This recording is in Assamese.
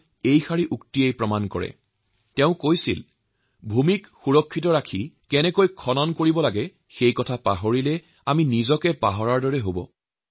তেওঁ কৈছিল to forget how to dig the earth and to tend the soil is to forget ourselves অৰ্থাৎ পৃথিৱীক কৰ্ষণ কৰা আৰ ভূমিৰ যত্ন ৰখা যদি আমি পাহৰি যাও তেতিয়াহলে এয়া নিজে নিজক পাহৰি যোৱাৰ দৰে হব